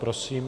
Prosím.